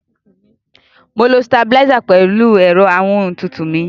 Mò ń lo sitabiláísà pẹ̀lú ẹ̀rọ amóhun tutù mi.